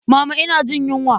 Mama ina jin yunwa.